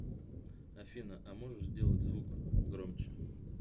афина а можешь сделать звук громче